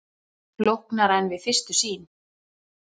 Flóknara en við fyrstu sýn